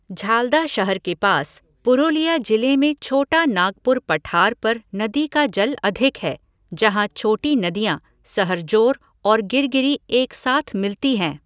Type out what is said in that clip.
झालदा शहर के पास, पुरुलिया जिले में छोटा नागपुर पठार पर नदी का जल अधिक है, जहाँ छोटी नदियाँ सहरजोर और गिरगिरी एक साथ मिलती हैं।